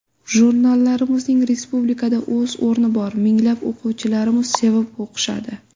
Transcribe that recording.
Jurnallarimizning respublikada o‘z o‘rni bor, minglab o‘quvchilarimiz sevib o‘qishadi.